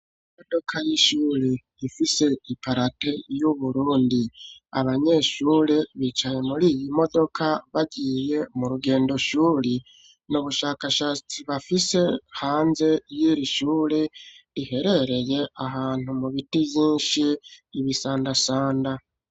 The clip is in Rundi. Imodoka y'ishure ifise iparate y'uburundi, abanyeshure bicaye muri iyi modoka bariye mu rugendo shuri ni ubushakashatsi bafise hanze y'iri ishure riherereye ahantu mu biti vyinshi ibisandasanda.